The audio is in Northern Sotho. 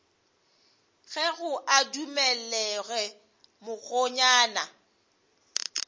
kego a dumele ge mokgonyana